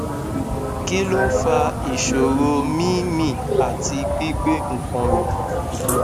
kí ló ń fa ìṣòro mí mí àti gbi gbe nkan mi